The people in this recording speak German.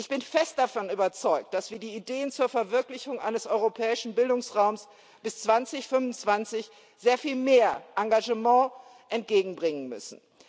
Ich bin fest davon überzeugt, dass wir den Ideen zur Verwirklichung eines Europäischen Bildungsraumes bis 2025 sehr viel mehr Engagement entgegenbringen müssen.